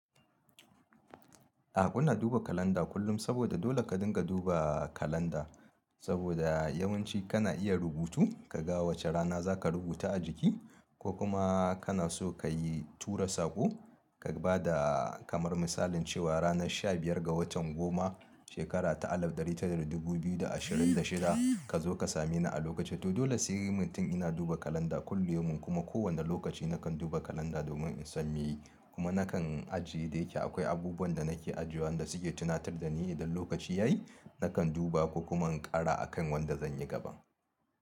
A'a kuna duba kalanda kullum saboda dole ka dinga duba kalanda saboda yawanci kana iya rubutu ka ga wace rana za ka rubuta a jiki ko kuma kana so ka yi tura sako ka bada kamar misalin cewa ranar 15 ga watan goma shekara ta alif dari tara dubu biyu da ashirin da shida ka zo ka same ni a lokaci to dole sai mutum yana duba kalanda kullum yaumu kuma kowane lokaci nakan duba kalanda domin in san me ye kuma nakan ajiye da yake akwai abubuwan da nake ajiyewa da suke tunatar da ni idan lokaci yayi nakan duba ko kuma in ƙara akan wanda zan yi gaba.